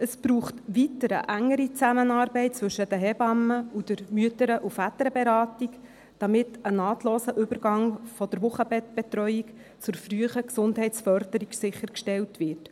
Es braucht weiter eine engere Zusammenarbeit zwischen den Hebammen und der Mütter- und Väterberatung (MVB), damit ein nahtloser Übergang von der Wochenbettbetreuung zur frühen Gesundheitsförderung sichergestellt wird.